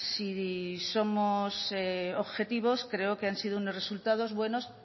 si somos objetivos creo que han sido unos resultados buenos